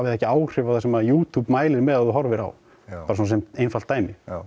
það ekki áhrif á það sem YouTube mælir með að þú horfir á bara svona sem einfalt dæmi já